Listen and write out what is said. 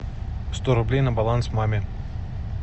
сто рублей на баланс маме